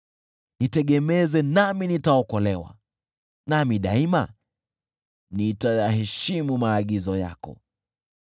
Nitegemeze, nami nitaokolewa, nami daima nitayaheshimu maagizo yako.